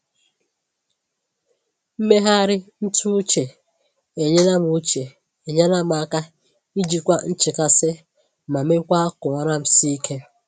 Mmegharị ntụ uche enyela m uche enyela m aka ijikwa nchekasị ma mekwa ka ụra m sie ike.